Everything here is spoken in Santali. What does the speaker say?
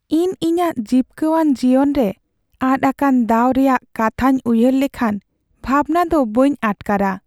ᱤᱧ ᱤᱧᱟᱹᱜ ᱡᱤᱯᱠᱟᱹᱣᱟᱱ ᱡᱤᱭᱚᱱᱨᱮ ᱟᱫ ᱟᱠᱟᱱ ᱫᱟᱣ ᱨᱮᱭᱟᱜ ᱠᱟᱛᱷᱟᱧ ᱩᱭᱦᱟᱹᱨ ᱞᱮᱠᱷᱟᱱ ᱵᱷᱟᱵᱽᱱᱟ ᱫᱚ ᱵᱟᱹᱧ ᱟᱴᱠᱟᱨᱟ ᱾